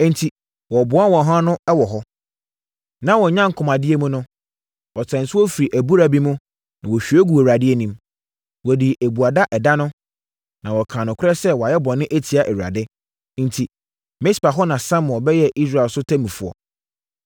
Enti, wɔboaa wɔn ho ano wɔ hɔ. Na wɔn nyankomadeɛ mu no, wɔsaa nsuo firi abura bi mu, na wɔhwie guu Awurade anim. Wɔdii abuada ɛda no, na wɔkaa nokorɛ sɛ wɔayɛ bɔne atia Awurade. Enti, Mispa hɔ na Samuel bɛyɛɛ Israel so ɔtemmufoɔ.